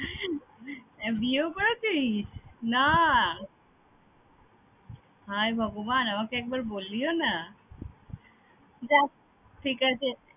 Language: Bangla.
বিয়েও করেছিস? না! হায় ভগবান আমাকে একবার বললিও না! যাক ঠিক আছে